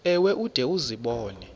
ewe ude uzibone